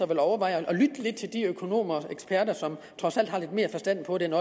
vil overveje at lytte lidt til de økonomer og eksperter som trods alt har lidt mere forstand på det end